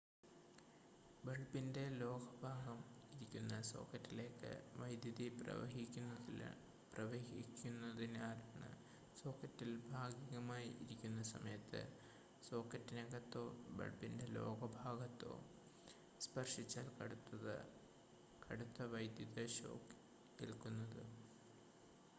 ബൾബിൻ്റെ ലോഹ ഭാഗം ഇരിക്കുന്ന സോക്കറ്റിലേക്ക് വൈദ്യുതി പ്രവഹിക്കുന്നതിനാലാണ് സോക്കറ്റിൽ ഭാഗികമായി ഇരിക്കുന്ന സമയത്ത് സോക്കറ്റിനകത്തോ ബൾബിൻ്റെ ലോഹ ഭാഗത്തോ സ്പർശിച്ചാൽ കടുത്ത വൈദ്യുത ഷോക്ക് ഏൽക്കുന്നത്